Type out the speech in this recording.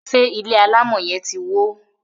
ṣe ilé alamò yen tí wọ?